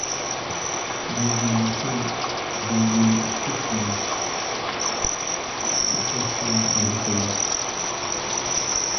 найди мне фильм с боевыми искусствами с участием брюса ли